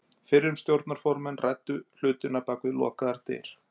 Fyrrum stjórnarformenn ræddu hlutina bak við lokaðar dyr.